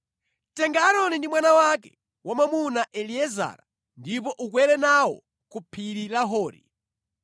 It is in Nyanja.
Tenga Aaroni ndi mwana wake wamwamuna Eliezara ndipo ukwere nawo ku phiri la Hori.